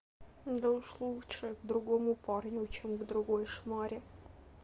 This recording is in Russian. да уж лучше к другому парню чем к другой шмаре